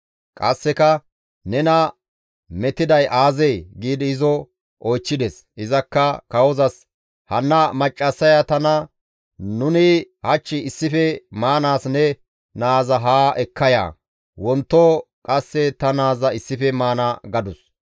Qasseka, «Nena metiday aazee?» giidi izo oychchides; izakka kawozas, «Hanna maccassaya tana, ‹Nuni hach issife maanaas ne naaza haa ekka ya; wonto qasse ta naaza issife maana› gadus.